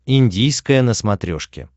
индийское на смотрешке